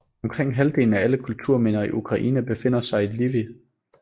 Omkring halvdelen af alle kulturminder i Ukraine befinder sig i Lviv